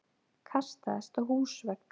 Kastaðist á húsvegg!